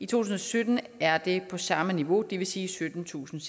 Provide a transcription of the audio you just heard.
tusind og sytten er det på samme niveau det vil sige syttentusinde